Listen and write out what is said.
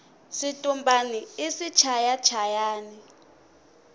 switumbani i swichaya chayani